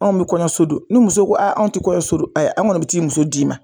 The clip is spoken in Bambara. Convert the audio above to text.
Anw bi kɔɲɔso don, ni muso ko anw ti kɔɲɔso don an kɔni mi taa i muso d'i ma.